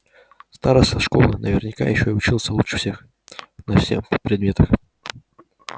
староста школы наверняка ещё и учился лучше всех на всем предметах